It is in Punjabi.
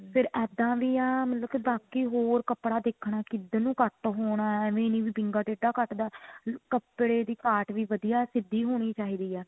ਫਿਰ ਇੱਦਾਂ ਵੀ ਆ ਮਤਲਬ ਕਿ ਬਾਕੀ ਹੋਰ ਕੱਪੜਾ ਦੇਖਣਾ ਕਿੱਧਰ ਨੂੰ cut ਹੋਣਾ ਐਵੇਂ ਨਹੀਂ ਕਿ ਬਿੰਗਾ ਟੇਢ਼ਾ ਕੱਟਦਾ ਕੱਪੜੇ ਦੀ ਕਾਟ ਵੀ ਵਧੀਆ ਸਿੱਧੀ ਹੋਣੀ ਚਾਹੀਦੀ ਆ